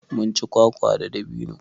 Munci kwakwa da dabino